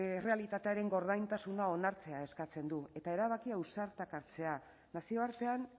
errealitatearen gordintasuna onartzea eskatzen du eta erabaki ausartak hartzea nazioartean